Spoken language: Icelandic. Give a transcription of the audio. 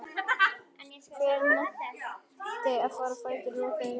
Hver nennti á fætur í roki og rigningu?